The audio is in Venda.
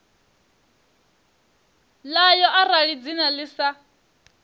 ḽayo arali dzina ḽi sa